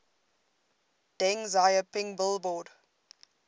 deng xiaoping billboard